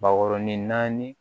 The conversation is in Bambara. Bakɔrɔnin naani